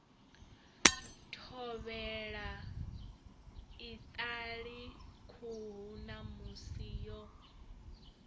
thovhela iṱali khuhu ṋamusi yo